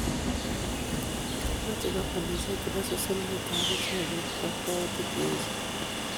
Kemeche kampunisiek chebo social media agichek koiib kokwautik che echeen ".